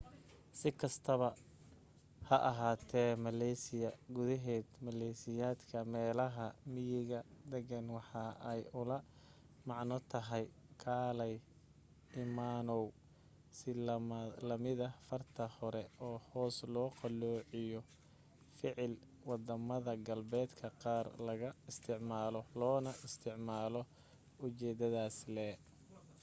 si kasta haba ahaate malaysia gudahed maleysiyaanka meelaha miyiga dagan waxa ay ula macno tahay kaalay imanow si lamida farta hore oo hoos loo qaloociyo ficil wadamada galbeedka qaar laga isticmaalo loona isticmaalo ujeedadas lee